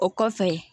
O kɔfɛ